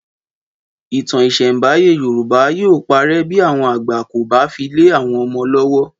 Ìtàn ìsẹ̀nbáyé Yorùbá yóò parẹ́ bí àwọn àgbà kò bá fi lè àwọn ọmọ lọ́wọ́